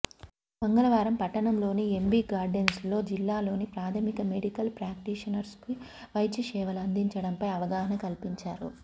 మంగళవారం పట్టణంలోని ఎంబీ గార్డెన్స్లో జిల్లాలోని ప్రాథమిక మెడికల్ ప్రాక్టీషనర్స్కు వైద్యసేవలు అందించడంపై అవగాహన కల్పించారు